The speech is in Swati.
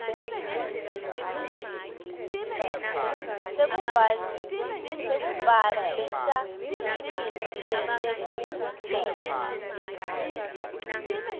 sekubhalisa imitsi yetekulima